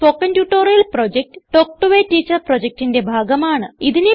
spoken tutorial project talk to a teacher പ്രൊജക്റ്റിന്റെ ഭാഗമാണ്